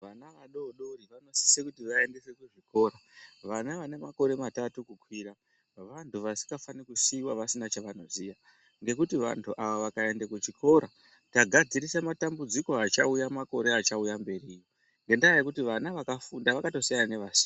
Vana vadodori vanosisa kuti vaende kuchikoro vana vane makore matatu kukwira vantu vasingafani kusiyiwa vasina chavanoziya ngekuti vantu ava vakaenda kuchikora tagadzirisa matambudziko achauya makore achauya mberiyo. Ngendaa yekuti vana vakafunda vakatosiyana nevasina.